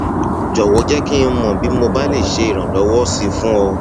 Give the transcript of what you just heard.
jọwọ jẹ kí n mọ bí mo bá lè ṣe ìrànlọwọ sí i fún ọ